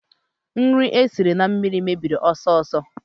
Nri esiri na mmiri mebiri ọsọ ọsọ